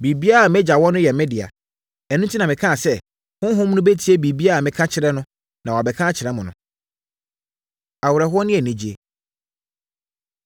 Biribiara a mʼAgya wɔ no yɛ me dea. Ɛno enti na mekaa sɛ, Honhom no bɛtie biribiara a meka kyerɛ no, na wabɛka akyerɛ mo no.” Awerɛhoɔ Ne Anigyeɛ